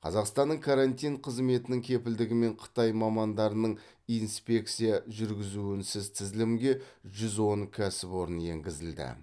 қазақстанның карантин қызметінің кепілдігімен қытай мамандарының инспекция жүргізуінсіз тізілімге жүз он кәсіпорын енгізілді